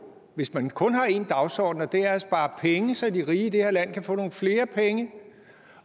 hvis man kun har én dagsorden og det er at spare penge så de rige i det her land kan få nogle flere penge